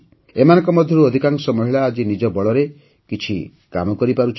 ଏମାନଙ୍କ ମଧ୍ୟରୁ ଅଧିକାଂଶ ମହିଳା ଆଜି ନିଜ ବଳରେ କିଛି କାମ କରିପାରୁଛନ୍ତି